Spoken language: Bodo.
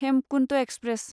हेमकुन्त एक्सप्रेस